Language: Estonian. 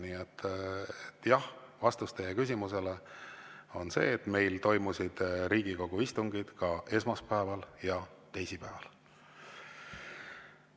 Nii et vastus teie küsimusele on see, et meil toimusid Riigikogu istungid ka esmaspäeval ja teisipäeval.